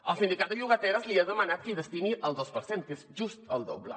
el sindicat de llogateres li ha demanat que hi destini el dos per cent que és just el doble